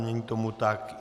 Není tomu tak.